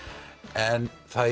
en það